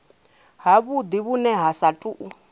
havhudi vhune ha sa tou